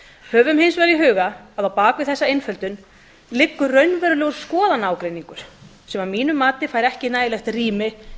höfum hins vegar í huga að á bak við þessa einföldun liggur raunverulegur skoðanaágreiningur sem að mínu mati fær ekki nægilegt rými